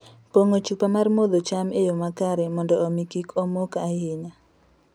Pong'o chupa mar modho cham e yo makare mondo omi kik omok ahinya.